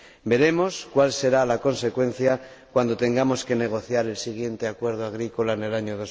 Veremos cual será la consecuencia cuando tengamos que negociar el siguiente acuerdo agrícola en el año